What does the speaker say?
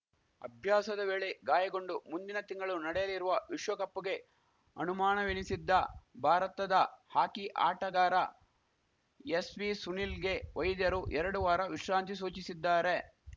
ಅಭ್ಯಾಸದ ವೇಳೆ ಗಾಯಗೊಂಡು ಮುಂದಿನ ತಿಂಗಳು ನಡೆಯಲಿರುವ ವಿಶ್ವಕಪ್‌ಗೆ ಅಣುಮಾಣವೆನಿಸಿದ್ದ ಭಾರತದ ಹಾಕಿ ಆಟಗಾರ ಎಸ್‌ವಿಸುನಿಲ್‌ಗೆ ವೈದ್ಯರು ಎರಡು ವಾರ ವಿಶ್ರಾಂತಿ ಸೂಚಿಸಿದ್ದಾರೆ